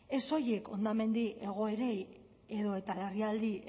ez soilik hondamendi egoerei edota larrialdi